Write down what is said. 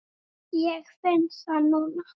Ég finn það núna.